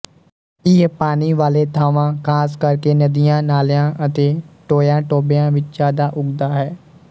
ਇਹ ਪਾਣੀ ਵਾਲੇ ਥਾਂਵਾਂ ਖ਼ਾਸ ਕਰ ਕੇ ਨਦੀਆਂ ਨਾਲਿਆਂ ਅਤੇ ਟੋਇਆਂਟੋਬਿਆਂ ਵਿੱਚ ਜਿਆਦਾ ਉੱਗਦਾ ਹੈ